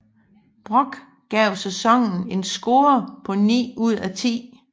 Brock gav sæsonen en score på 9 ud af 10